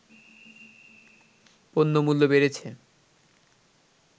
পণ্যমূল্য বেড়েছে